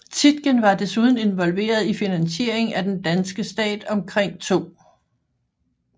Tietgen var desuden involveret i finansiering af den danske stat omkring 2